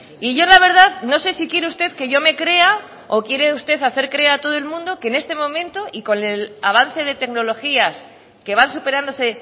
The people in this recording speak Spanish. y yo la verdad no sé si quiere usted que yo me crea o quiere usted hacer creer a todo el mundo que en este momento y con el avance de tecnologías que van superándose